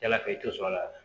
Yala kɛ i tɛ sɔn a la